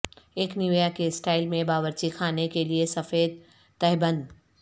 ایک نیویا کے سٹائل میں باورچی خانے کے لئے سفید تہبند